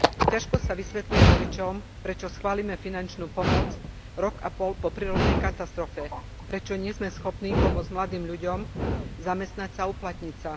Ťažko sa vysvetľuje voličom, prečo schválime finančnú pomoc rok a pol po prírodnej katastrofe, prečo nie sme schopní pomôcť mladým ľuďom zamestnať sa a uplatniť sa.